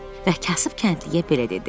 Və kasıb kəndliyə belə dedi.